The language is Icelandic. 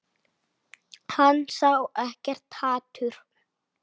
Hann sá ekkert hatur.